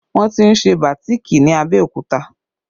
Wọn ti ń ṣe bàátìkì ní Abẹ́òkúta